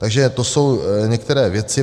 Takže to jsou některé věci.